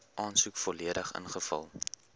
aansoek volledig ingevul